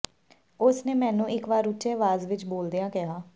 ਉਸ ਨੇ ਮੈਨੂੰ ਇਕ ਵਾਰ ਉੱਚੇ ਆਵਾਜ਼ ਵਿਚ ਬੋਲਦਿਆਂ ਕਿਹਾ